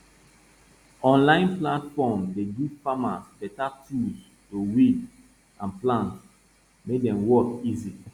online platform dey give farmers better tools to weed and plant make dem work easy